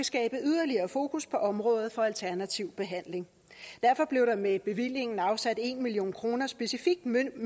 skabe yderligere fokus på området for alternativ behandling derfor blev der med bevillingen afsat en million kroner specifikt møntet